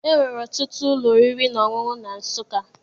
E nwere ọtụtụ ụlọ oriri na ọṅụṅụ na Nsụka.